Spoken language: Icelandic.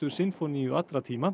sinfóníu allra tíma